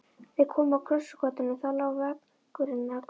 Þeir komu að krossgötunum, þaðan lá vegurinn að Grund.